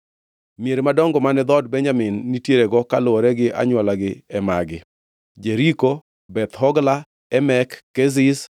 Mier madongo mane dhood Benjamin nitierego kaluwore gi anywolagi e magi: Jeriko, Beth Hogla, Emek Keziz,